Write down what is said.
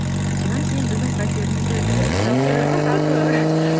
содан кейін біздің пәтеріміз де сатылды ма сатылды